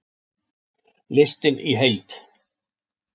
Listinn í heild